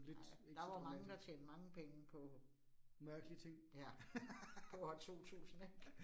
Nej, der var mange, der tjente mange penge på. Ja. På år 2000 ik